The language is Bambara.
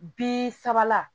Bi saba